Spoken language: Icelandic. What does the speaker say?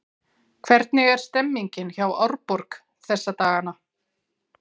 Hvernig er stemmningin hjá Árborg þessa dagana?